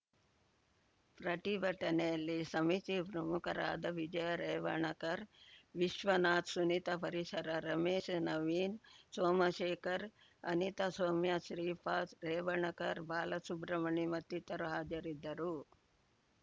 ಪ್ರತಿಭಟನೆಯಲ್ಲಿ ಸಮಿತಿ ಪ್ರಮುಖರಾದ ವಿಜಯ ರೇವಣ್‌ಕರ್‌ ವಿಶ್ವನಾಥ್‌ ಸುನಿತಾ ಪರಿಸರ ರಮೇಶ್‌ ನವೀನ್‌ ಸೋಮಶೇಖರ್‌ ಅನಿತಾ ಸೌಮ್ಯಾ ಶ್ರೀಪಾದ್‌ ರೇವಣ್‌ಖರ್‌ ಬಾಲಸುಬ್ರ ಮಣಿ ಮತ್ತಿತರ ಹಾಜರಿದ್ದರು